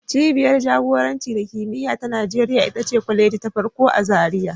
Cibiyar jagoranci da kimiyya ta Najeriya ita ce kwaleji ta farko a Zariya